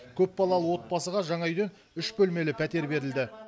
көпбалалы отбасыға жаңа үйден үш бөлмелі пәтер берілді